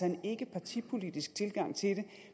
en ikkepartipolitisk tilgang til det